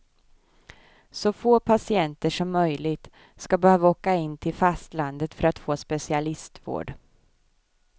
Så få patienter som möjligt skall behöva åka in till fastlandet för att få specialistvård.